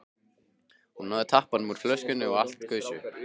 Hún náði tappanum úr flöskunni og allt gaus upp.